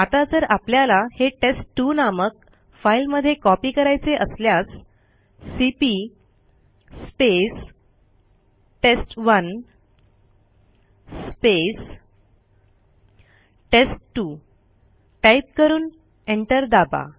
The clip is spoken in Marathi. आता जर आपल्याला हे टेस्ट2 नामक फाईलमध्ये कॉपी करायचे असल्यास सीपी टेस्ट1 टेस्ट2 टाईप करून एंटर दाबा